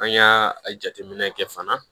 An y'a jateminɛ kɛ fana